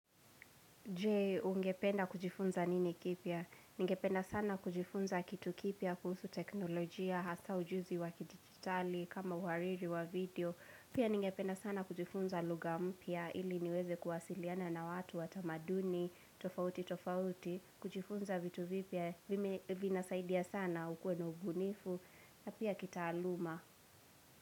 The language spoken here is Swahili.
Je, ungependa kujifunza nini kipya? Ningependa sana kujifunza kitu kipya kuhusu teknolojia, hasa ujuzi wa kidigitali, kama uhariri wa video. Pia ningependa sana kujifunza lugha mpya ili niweze kuwasiliana na watu watamaduni, tofauti tofauti, kujifunza vitu vipya, vinasaidia sana ukuwe na ubunifu, na pia kitaaluma.